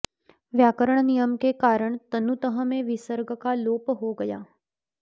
व्याकरण नियम के कारण तनुतः में विसर्ग का लोप हो गया है